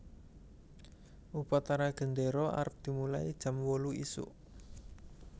Upacara gendero arep dimulai jam wolu isuk